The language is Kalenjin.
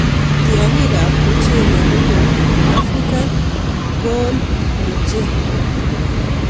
Tiongikab mochelek ko kou African gall midge.